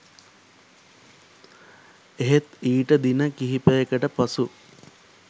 එහෙත් ඊට දින කිහිපයකට පසු